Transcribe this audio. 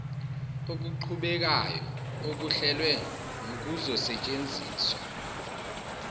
okuqhubekayo okuhlelwe nokuzosetshenziswa